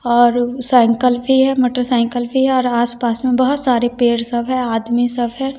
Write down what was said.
और साइकल भी है मोटरसाइकल भी है और आस पास में बहोत सारे पेड़ सब है आदमी सब है।